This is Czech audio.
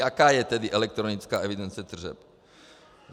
Jaká je tedy elektronická evidence tržeb?